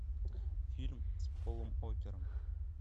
фильм с полом уокером